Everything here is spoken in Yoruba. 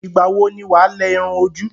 Ìgbà wọ ni wà á lẹ irun ojú?